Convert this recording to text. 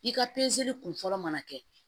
I ka kun fɔlɔ mana kɛ